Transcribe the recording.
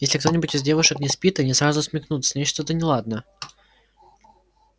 если кто-нибудь из девушек не спит они сразу смекнут с ней что-то неладно